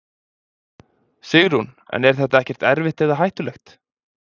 Sigrún: En er þetta ekkert erfitt eða hættulegt?